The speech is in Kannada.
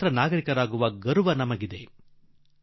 ಸ್ವತಂತ್ರ ನಾಗರಿಕನೆಂಬ ಹೆಮ್ಮೆಯನ್ನೂ ಕಾಣುತ್ತೇವೆ